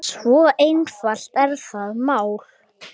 Svo einfalt er það mál.